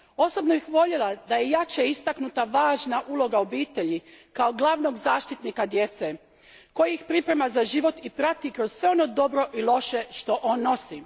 Osobno bih voljela da je jače istaknuta važna uloga obitelji kao glavnog zaštitnika djece koji ih priprema za život i prati kroz sve ono dobro i loše što on nosi.